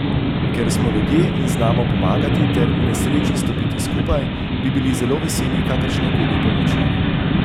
Ker smo ljudje in znamo pomagati ter v nesreči stopiti skupaj, bi bili zelo veseli kakršnekoli pomoči.